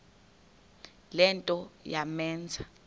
le nto yamenza